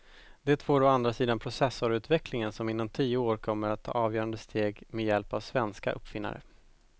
Det får å andra sidan processorutvecklingen som inom tio år kommer att ta avgörande steg med hjälp av svenska uppfinnare.